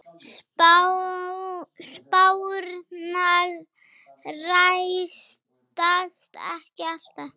Spárnar rætast ekki alltaf.